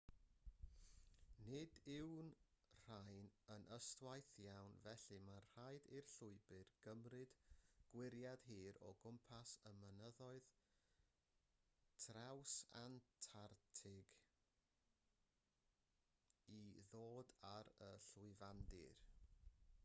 nid yw'r rhain yn ystwyth iawn felly mae'n rhaid i'r llwybr gymryd gwyriad hir o gwmpas y mynyddoedd trawsantarctig i ddod ar y llwyfandir